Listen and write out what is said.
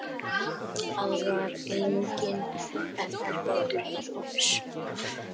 Að vera enginn eftirbátur einhvers